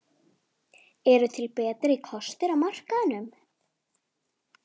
Hvernig tölum við um annað fólk, hvaða orð notum við?